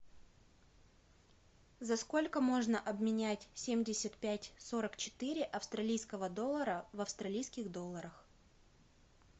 за сколько можно обменять семьдесят пять сорок четыре австралийского доллара в австралийских долларах